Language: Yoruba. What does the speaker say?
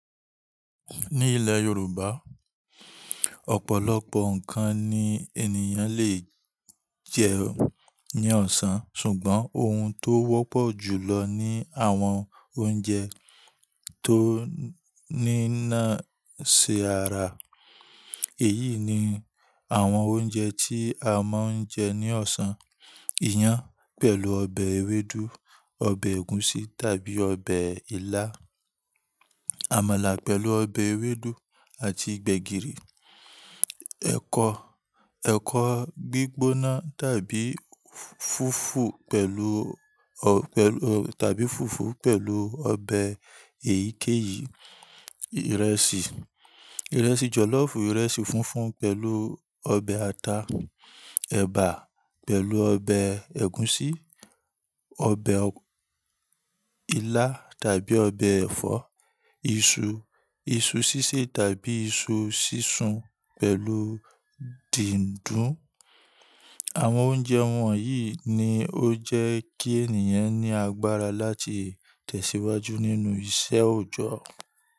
Ní ilẹ̀ Yorùbá, ọ̀pọ̀lọpọ̀ nǹkan ni ènìyàn lè jẹ ní ọ̀sán. Ṣùgbọ́n ohun tó wọ́pọ̀ jù lọ ni àwọn oúnjẹ tó ní náà ṣe ara. Èyí ni àwọn oúnjẹ tí a máa ń jẹ ní ọ̀sán: iyán pẹ̀lú ọbẹ̀ ewédú, ọbẹ̀ ẹ̀gúsí tàbí ọbẹ̀ ilá, àmàlà pẹ̀lú ọbẹ̀ ewédú àti gbẹ̀gìrì, ẹ̀kọ gbígbóná tàbí fùfú pẹ̀lú ọ tàbí fùfú pẹ̀lú ọbẹ̀ èyíkẹ́yìí, ìrẹsì, ìrẹsì jọ̀lọ́fù, ìrẹsì funfun pẹ̀lú ọbẹ̀ ata, ẹ̀bà pẹ̀lú ọbẹ̀ ẹ̀gúsí, ọbẹ̀ ilá tàbí ọbẹ̀ ẹ̀fọ́, iṣu, iṣu sísè tàbí iṣu sísun pẹ̀lú dídùn. Àwọn oúnjẹ wọ̀nyí ni ó jẹ́ kí ènìyàn ní agbára láti tẹ̀síwájú nínú iṣẹ́ òjọ́.